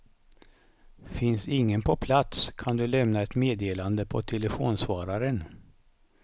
Finns ingen på plats kan du lämna ett meddelande på telefonsvararen.